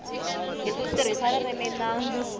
hi ku tirhisa ririmi na